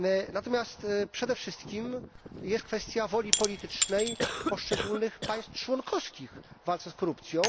Natomiast przede wszystkim jest kwestia woli politycznej poszczególnych państw członkowskich w walce z korupcją.